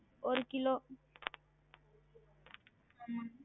ஒரு கிலோ உம்